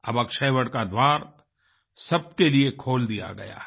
अब अक्षयवट का द्वार सबके लिए खोल दिया गया है